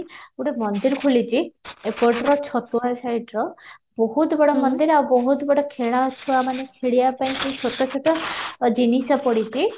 ଗୋଟେ ମନ୍ଦିର ଖୋଳିଚି ଏପଟରେ ସାଇଟର ବହୁତ ବଡ ମନ୍ଦିର ଆଉ ବହୁତ ବଡ ଖେଳ ଛୁଆମାନେ ଖେଳିବା ପାଇଁ ସେଇ ଛୋଟ ଛୋଟ ଜିନିଷ ପଡିଚି